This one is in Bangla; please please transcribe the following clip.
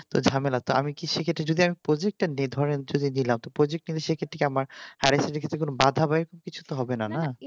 এই ঝামেলাটা আমি কি সেক্ষেত্রে যদি প্রযুক্তির date হয় দিলা তো প্রযুক্তি বিষয়ে বাধা বয়স কিছু হবে না তাই না